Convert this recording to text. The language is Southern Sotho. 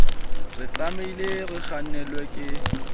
re tlamehile re kgannelwa ke